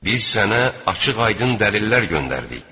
Biz sənə açıq-aydın dəlillər göndərdik.